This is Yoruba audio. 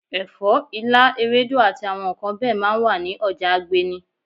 Ẹ̀fọ́, ilá, ewédú àti àwọn nǹkan bẹ́ẹ̀ máa ń wà ní ọjà Agbeni.